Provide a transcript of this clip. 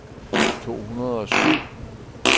to hundrede og syv